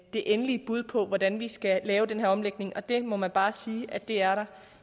det endelige bud på hvordan vi skal lave den her omlægning det må man bare sige at der